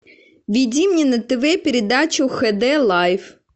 введи мне на тв передачу хд лайф